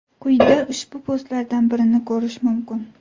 Quyida ushbu postlardan birini korish mumkin.